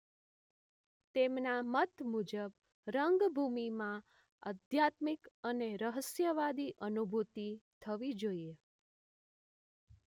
તેમના મત મુજબ રંગભૂમિમાં અધ્યાત્મિક અને રહસ્યવાદી અનુભુતિ થવી જોઈએ